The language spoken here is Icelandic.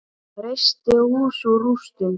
Reisti hús úr rústum.